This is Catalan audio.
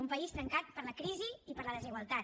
un país trencat per la crisi i per la desigualtat